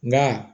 Nka